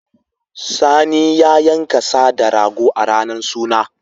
Sani ya yanka sa da rago a ranar suna.